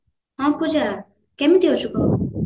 ହଁ ପୂଜା କେମିତି ଅଛୁ କହ